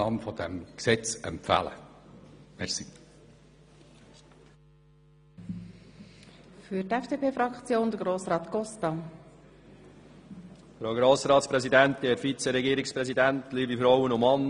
Des halb empfiehlt Ihnen die SVP-Fraktion mit grosser Mehrheit die Annahme dieses Gesetzes.